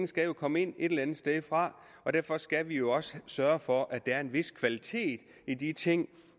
skal komme et eller andet sted fra og derfor skal vi også sørge for at der er en vis kvalitet i de ting